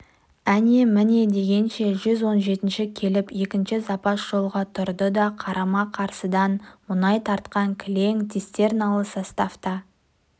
әне-міне дегенше жүз он жетінші келіп екінші запас жолға тұрды да қарама-қарсыдан мұнай тартқан кілең цистерналы состав та